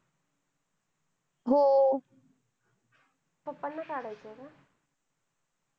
pappa ना काढायचं का?